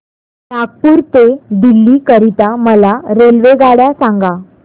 नागपुर ते दिल्ली करीता मला रेल्वेगाड्या सांगा